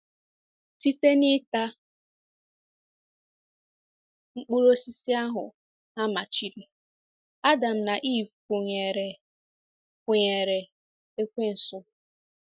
Site n’ita mkpụrụ osisi ahụ a machiri, Adam na Eve kwụnyeere kwụnyeere ekwensu.